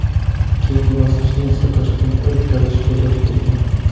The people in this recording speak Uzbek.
Keyingi bosqichni esa Toshkentda o‘tkazish ko‘zda tutilgan.